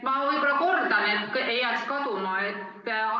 Ma võib-olla kordan, et ei läheks kaduma.